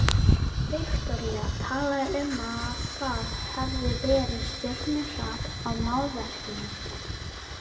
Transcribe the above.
Viktoría talaði um að það hefði verið stjörnuhrap á málverkinu.